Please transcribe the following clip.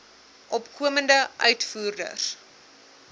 opkomende uitvoerders